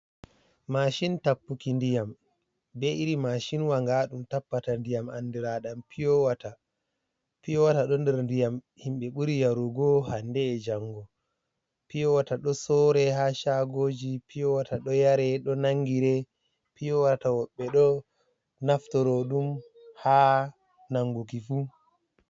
Mashin tappuki ndiyam, be iri masin wa nga ɗum tappata ndiyam andira ɗam piyo wata. Puyo wata ɗo der ndiyam himɓe ɓuri yarugo hande’e jango. Piyo wata ɗo sore ha shagoji, piyo wata ɗo yare, ɗo nangire, piyo wata woɓbe ɗo naftoro ɗum ha nanguki fu.